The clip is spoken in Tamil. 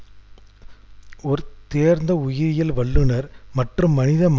அரசாங்கம் தேசிய பாதுகாப்பில் சமரசம் செய்துவிட்டது என்ற